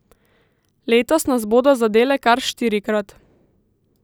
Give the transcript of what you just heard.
Letos nas bodo zadele kar štirikrat.